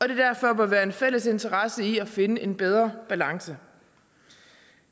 der derfor må være en fælles interesse i at finde en bedre balance